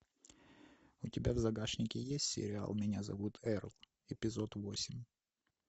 у тебя в загашнике есть сериал меня зовут эрл эпизод восемь